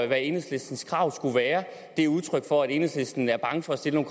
hvad enhedslistens krav skulle være er udtryk for at enhedslisten er bange for at stille